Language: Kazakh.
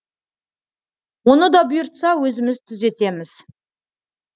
оны да бұйыртса өзіміз түзетеміз